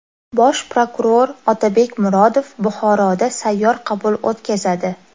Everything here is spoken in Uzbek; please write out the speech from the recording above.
Bosh prokuror Otabek Murodov Buxoroda sayyor qabul o‘tkazadi.